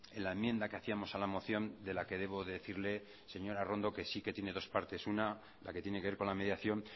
en la enmienda que hacíamos a la moción de la que debo decirle señora arrondo que sí que tiene dos partes una la que tiene que ver con la mediación